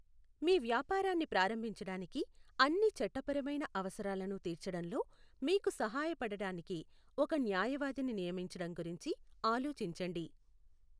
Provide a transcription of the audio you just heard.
మీ వ్యాపారాన్ని ప్రారంభించడానికి అన్ని చట్టపరమైన అవసరాలను తీర్చచడంలో మీకు సహాయపడటానికి ఒక న్యాయవాదిని నియమించడం గురించి ఆలోచించండి.